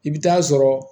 I bɛ taa sɔrɔ